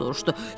O soruşdu.